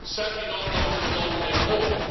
Certainly not those who lost their homes.